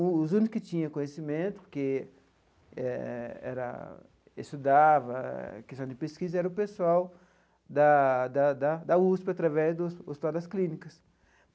Os únicos que tinham conhecimento, porque eh era estudava, era questão de pesquisa, era o pessoal da da da da USP, através do hospital das clínicas.